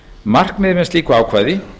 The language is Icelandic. markmiðið með slíku ákvæði